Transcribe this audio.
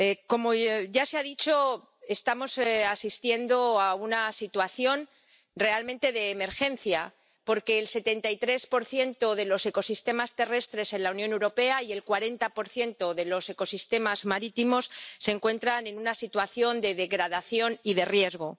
Como ya se ha dicho, estamos asistiendo a una situación realmente de emergencia porque el 73 de los ecosistemas terrestres en la Unión Europea y el 40 de los ecosistemas marítimos se encuentran en una situación de degradación y de riesgo.